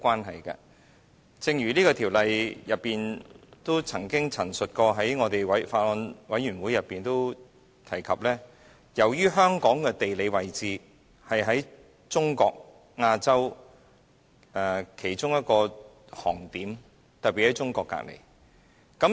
正如政府官員就《條例草案》在法案委員會會議中亦曾經陳述過，香港的地理位置是在中國、亞洲的其中一個航點，特別是鄰近中國。